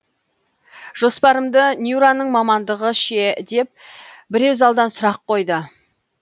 жоспарымды нюраның мамандығы ше деп біреу залдан сұрақ қойды